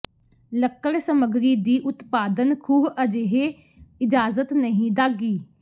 ਲੱਕੜ ਸਮੱਗਰੀ ਦੀ ਉਤਪਾਦਨ ਖੂਹ ਅਜਿਹੇ ਇਜਾਜ਼ਤ ਨਹੀ ਦਾਗੀ